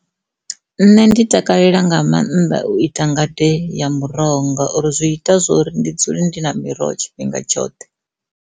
Nṋe ndi takalela nga maanḓa u ita ngade ya muroho ngauri zwi ita zwori ndi dzule ndi na miroho tshifhinga tshoṱhe.